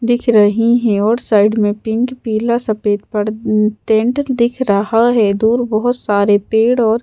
दिख रही हैं और साइड में पिंक पीला सफेद पर टेंट दिख रहा है दूर बहुत सारे पेड़ और--